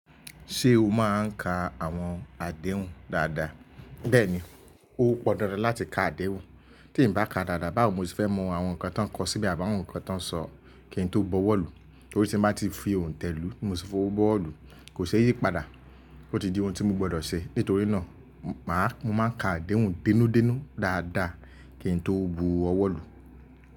Ṣé o máa ń ka àwọn àdéhùn dáadáa? Bẹ́ẹ̀ni, ó pọn dandan láti ka àdéhùn, tí ń bá ka dáadáa báwo ni mo ti fẹ́ mọ àwọn nǹkan tí wọ́n ń kọ síbí àbá àwọn nǹkan tí wọ́n ń sọ kí n tó bọwọ́ lù. Torí tí mo bá ti fi òǹtẹ̀ lù, mo ti fọwọ́ bọ́ ọ́ lù, kò ṣe yí padà. Ó ti di ohun tí mo gbọdọ̀ ṣe. Nítorí náà, màá-- mo máa ka àdéhùn dínúdínú dáadáa kí n tó bu ọwọ́ lù.